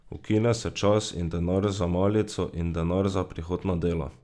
Ukine se čas in denar za malico in denar za prihod na delo.